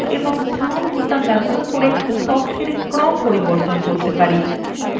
আমরা up এবং down বোতাম ব্যবহার করে তথ্যর ক্রম পরিবর্তন করতে পারি